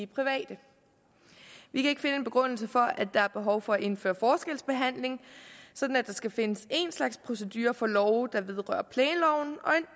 private vi kan ikke finde en begrundelse for at der er behov for at indføre forskelsbehandling sådan at der skal findes en slags procedure for love der vedrører planloven og en